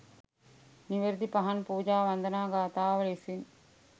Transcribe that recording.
නිවැරැදි පහන් පූජා වන්දනා ගාථාව ලෙසින්